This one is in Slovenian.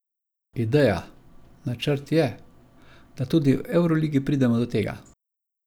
Ideja, načrt je, da tudi v evroligi pridemo do tega.